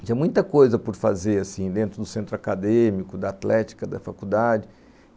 Tinha muita coisa por fazer assim, dentro do centro acadêmico, da atlética, da faculdade.